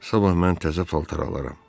Sabah mən təzə paltar alaram.